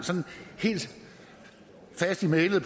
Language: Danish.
helt fast i mælet